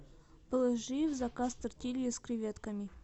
положи в заказ тортильи с креветками